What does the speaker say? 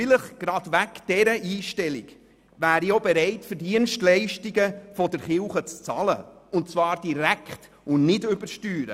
Vielleicht gerade wegen dieser Einstellung wäre ich auch bereit, für Dienstleistungen der Kirche zu bezahlen, und zwar direkt und nicht über die Steuern.